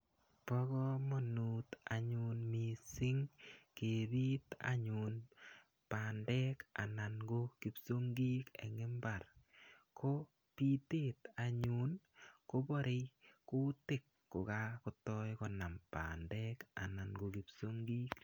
Pa kamanut anyun missing' kepiit anyun pandek anan ko kipsogik eng' imbar. Ko pitet anyun kopare kutiik ko kakotai konam pandek anan ko kipsongik.